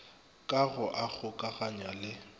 ka go a kgokaganya le